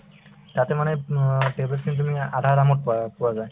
তাতে মানে অ tablet খিনি তুমি আধা দামত পোৱা পোৱা যায়